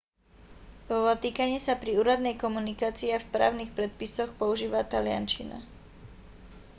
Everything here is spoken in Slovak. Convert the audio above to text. vo vatikáne sa pri úradnej komunikácii a v právnych predpisoch používa taliančina